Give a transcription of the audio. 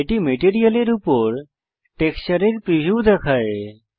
এটি মেটেরিয়ালের উপর টেক্সচারের প্রিভিউ দেখায়